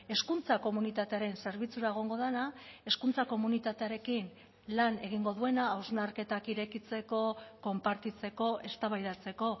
hezkuntza komunitatearen zerbitzura egongo dena hezkuntza komunitatearekin lan egingo duena hausnarketak irekitzeko konpartitzeko eztabaidatzeko